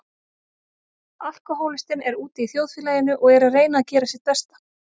Alkohólistinn er úti í þjóðfélaginu og er að reyna að gera sitt besta.